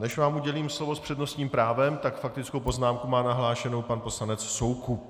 Než vám udělím slovo s přednostním právem, tak faktickou poznámku má nahlášenu pan poslanec Soukup.